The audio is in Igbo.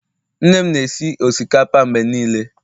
nne m na-esi osikapa mgbe niile